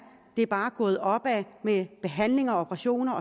det bare gået opad med behandlinger og operationer